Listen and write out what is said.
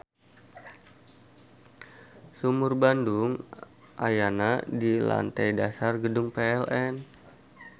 Sumur Bandung ayana di lantei dasar Gedung PLN.